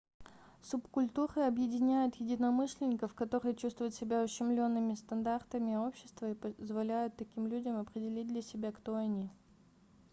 субкультуры объединяют единомышленников которые чувствуют себя ущемлёнными стандартами общества и позволяют таким людям определить для себя кто они